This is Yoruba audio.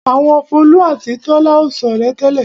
Àwọn Folú àti Tọ́lá ò ṣọ̀rẹ́ tẹ́lẹ̀.